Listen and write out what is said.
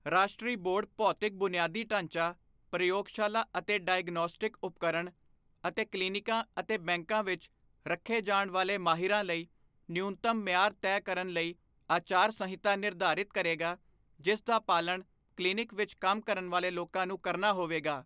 ਰਾਸ਼ਟਰੀ ਬੋਰਡ ਭੌਤਿਕ ਬੁਨਿਆਦੀ ਢਾਂਚਾ, ਪ੍ਰਯੋਗਸ਼ਾਲਾ ਅਤੇ ਡਾਇਗਨੌਸਟਿਕ ਉਪਕਰਣ ਅਤੇ ਕਲੀਨਿਕਾਂ ਅਤੇ ਬੈਂਕਾਂ ਵਿੱਚ ਰੱਖੇ ਜਾਣ ਵਾਲੇ ਮਾਹਿਰਾਂ ਲਈ ਨਿਊਨਤਮ ਮਿਆਰ ਤੈਅ ਕਰਨ ਲਈ ਆਚਾਰ ਸੰਹਿਤਾ ਨਿਰਧਾਰਿਤ ਕਰੇਗਾ, ਜਿਸ ਦਾ ਪਾਲਣ ਕਲੀਨਿਕ ਵਿੱਚ ਕੰਮ ਕਰਨ ਵਾਲੇ ਲੋਕਾਂ ਨੂੰ ਕਰਨਾ ਹੋਵੇਗਾ।